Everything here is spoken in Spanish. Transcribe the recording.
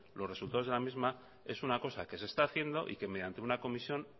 los resultados de la misma es una cosa que se está haciendo y que mediante una comisión